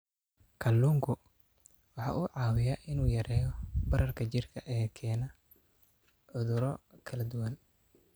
Kalluunku waxa uu caawiyaa in uu yareeyo bararka jidhka ee keena cudurro kala duwan.